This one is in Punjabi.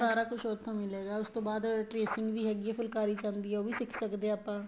ਸਾਰਾ ਕੁੱਛ ਉੱਥੋ ਮਿਲੇਗਾ ਉਸ ਤੋ ਬਾਅਦ tracing ਵੀ ਹੈਗੀ ਏ ਫੁਲਕਾਰੀ ਚ ਆਂਦੀ ਹੈ ਉਹ ਵੀ ਸਿੱਖ ਸਕਦੇ ਹਾਂ ਆਪਾਂ